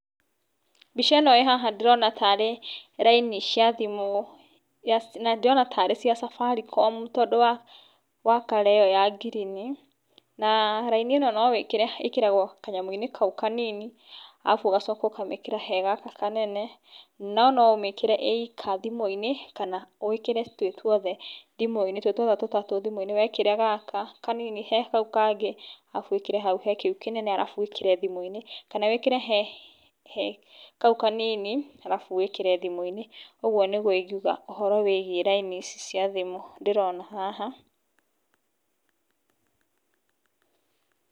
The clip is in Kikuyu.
Mbica ĩno ndĩrona haha ndĩrona tarĩ laini cia thĩmũ, ndĩrona ta irĩ cia Safaricom tondũ wa color ĩyo ya green na laini ĩno ĩkoragwo kanyamũ-inĩ kau kanini alafu ũgacoka ũkamekĩra he gaka kanene nono ũmĩkĩre yoika thimũ-inĩ kana wĩkĩre twĩtwothe thimũinĩ twĩtwothe tũtatũ thimũ-inĩ, wekĩra gaka kanini he kau kangĩ alafu wĩkĩre hau he kĩu kĩnene alafu wĩkĩre thimũ-inĩ kana wĩkĩre he kau kanini alafu wĩkĩre thimũ-inĩ ũguo nĩguo ingĩuga ũhoro wĩgie laini ici cia thimũ ndĩrona haha.